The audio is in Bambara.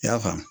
Yafa